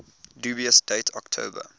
dubious date october